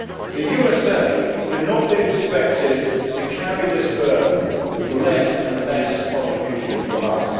The USA cannot be expected to carry this burden with less and less contribution from us.